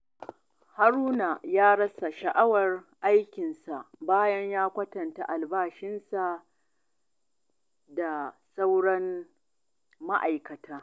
Haruna ya rasa sha'awar aikinsa bayan ya kwatanta albashinsa da na sauran ma'aikata.